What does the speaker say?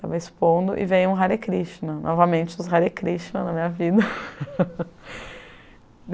Tava expondo e veio um Hare Krishna, novamente os Hare Krishna na minha vida.